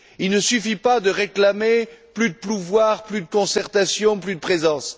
Il ne suffit pas de réclamer plus de pouvoir, plus de concertation, plus de présence.